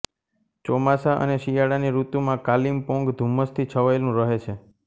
ચોમાસા અને શિયાળાની ઋતુમાં કાલિમપોંગ ધુમ્મસથી છવાયેલું રહે છે